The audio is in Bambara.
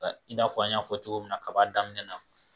I n'a fɔ a b'a fɔ cogo min na kab'a daminɛ na